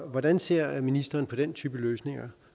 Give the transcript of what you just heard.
hvordan ser ministeren på den type løsning